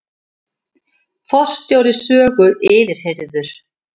Forstjóri Sögu yfirheyrður